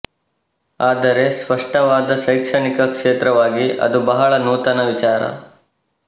ಆದರೆ ಸ್ಪಸ್ಟವಾದ ಶೈಕ್ಷಣಿಕ ಕ್ಷೇತ್ರವಾಗಿ ಅದು ಬಹಳ ನೂತನ ವಿಚಾರ